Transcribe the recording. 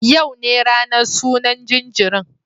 Yau ne ranan sunan jinjirin